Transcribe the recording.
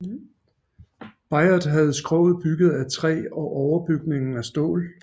Bayard havde skroget bygget af træ og overbygningen af stål